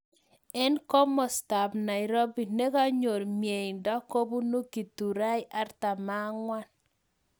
Eng komasta ab nairobi, nekanyor mnyendo kubunu githurai 44